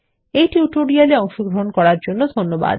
এই টিউটোরিয়াল এ অংশগ্রহন করার জন্য ধন্যবাদ